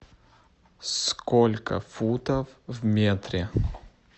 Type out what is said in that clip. сколько футов в метре